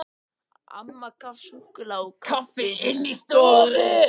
Amma gaf súkkulaði og kaffi inni í stofu.